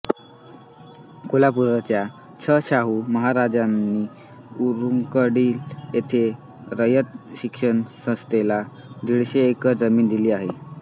कोल्हापूरच्या छ शाहू महाराजांनी रुकडी येथे रयत शिक्षण संस्थेला दीडशे एकर जमीन दिली आहे